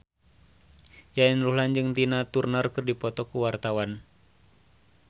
Yayan Ruhlan jeung Tina Turner keur dipoto ku wartawan